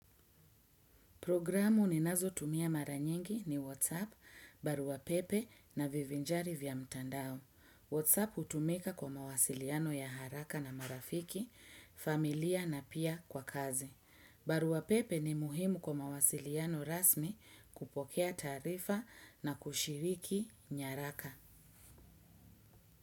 Programu ni nazo tumia maranyengi ni WhatsApp, baruapepe na vivinjari vya mtandao. WhatsApp utumika kwa mawasiliano ya haraka na marafiki, familia na pia kwa kazi. Baruapepe ni muhimu kwa mawasiliano rasmi kupokea tarifa na kushiriki nyaraka.